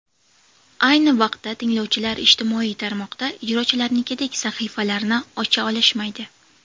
Ayni vaqtda, tinglovchilar ijtimoiy tarmoqda ijrochilarnikidek sahifalarni ocha olishmaydi.